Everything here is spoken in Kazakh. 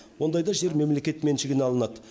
ондайда жер мемлекет меншігіне алынады